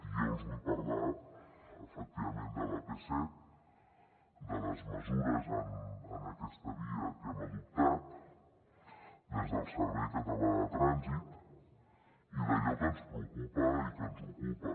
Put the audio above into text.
i jo els vull parlar efectivament de l’ap set de les mesures en aquesta via que hem adoptat des del servei català de trànsit i d’allò que ens preocupa i que ens ocupa